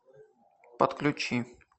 подключи